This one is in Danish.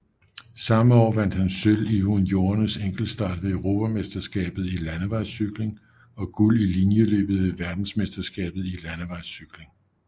Samme år vandt han sølv i juniorernes enkeltstart ved EM i landevejscykling og guld i linjeløbet ved VM i landevejscykling